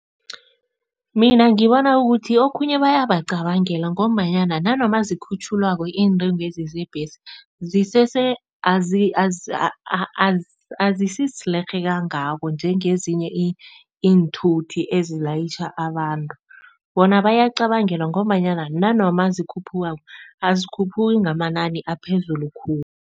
Mina ngibona ukuthi okhunye bayabacabangela ngombanyana nanoma zikhutjhulwako iintengwezi zebhesi zisese azisisilerhe kangako njengezinye iinthuthi ezilayitjha abantu. Bona bayacabangelwa ngombanyana nanoma zikhuphukako azikhuphuki ngamanani aphezulu khulu.